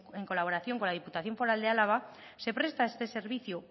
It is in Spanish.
en colaboración con la diputación foral de álava se presta este servicio